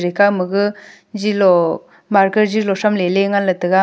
ka maga zilo marker zilo thramley ley nganley tega.